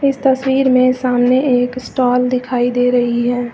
इस तस्वीर में सामने एक स्टॉल दिखाई दे रही है।